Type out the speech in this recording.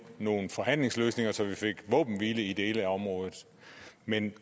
nogle forhandlingsløsninger så vi fik våbenhvile i dele af området men